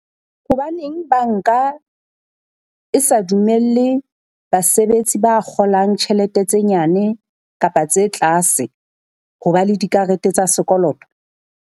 Hobaneng banka e sa dumelle basebetsi ba kgolang tjhelete tse nyane kapa tse tlase, ho ba le dikarete tsa sekoloto?